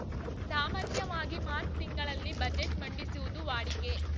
ಸಾಮಾನ್ಯವಾಗಿ ಮಾರ್ಚ್ ತಿಂಗಳಲ್ಲಿ ಬಜೆಟ್‌ ಮಂಡಿಸುವುದು ವಾಡಿಕೆ